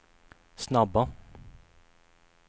snabba